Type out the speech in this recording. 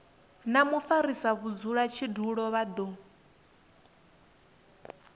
na mufarisa mudzulatshidulo vha do